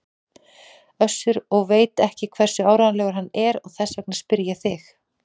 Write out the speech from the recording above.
Össur og veit ekki hversu áreiðanlegur hann er og þess vegna spyr ég þig.